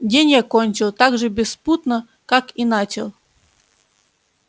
день я кончил так же беспутно как и начал